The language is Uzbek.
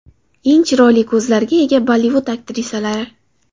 Eng chiroyli ko‘zlarga ega Bollivud aktrisalari .